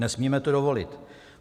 Nesmíme to dovolit.